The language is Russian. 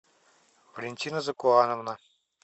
валентина закуановна